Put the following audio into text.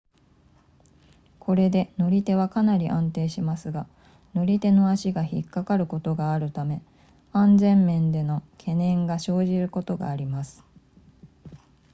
これで乗り手はかなり安定しますが乗り手の足が引っかかることがあるため安全面での懸念が生じることがあります